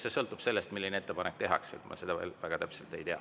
See sõltub sellest, milline ettepanek tehakse, ma seda veel väga täpselt ei tea.